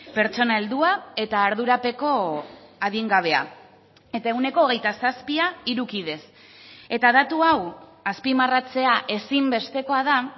pertsona heldua eta ardurapeko adingabea eta ehuneko hogeita zazpia hiru kidez eta datu hau azpimarratzea ezinbestekoa da